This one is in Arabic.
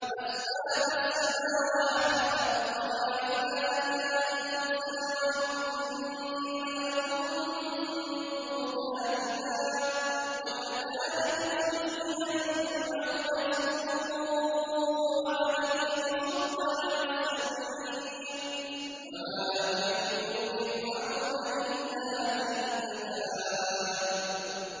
أَسْبَابَ السَّمَاوَاتِ فَأَطَّلِعَ إِلَىٰ إِلَٰهِ مُوسَىٰ وَإِنِّي لَأَظُنُّهُ كَاذِبًا ۚ وَكَذَٰلِكَ زُيِّنَ لِفِرْعَوْنَ سُوءُ عَمَلِهِ وَصُدَّ عَنِ السَّبِيلِ ۚ وَمَا كَيْدُ فِرْعَوْنَ إِلَّا فِي تَبَابٍ